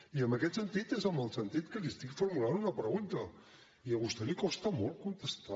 i en aquest sentit és en el sentit que li estic formulant una pregunta i a vostè li costa molt contestar